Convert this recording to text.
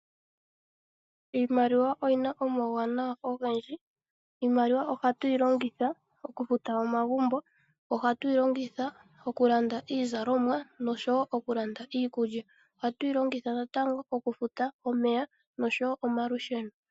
Iimaliwa oyina omauwanawa ogendji, iimaliwa ohatu yilongitha oku futa omagumbo, ohatu yilongitha oku landa iizalomwa nosho woo oku landa iikulya. Ohatu yilongitha natango oku futa omeya nosho woo omalusheno.